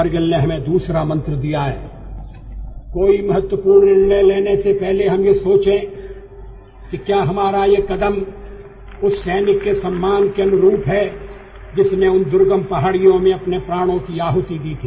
Kargil has given us another Mantra And the Mantra was before taking any important decision, we should think whether our step, our endeavor is befitting to the honour of the soldier who laid down his life in those remote mountains